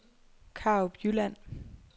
Karup Jylland